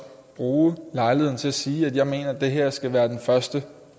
bruge lejligheden til at sige at jeg mener at det her skal være den første